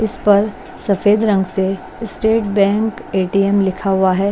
इस पर सफेद रंग से स्टेट बैंक ए_टी_एम लिखा हुआ है।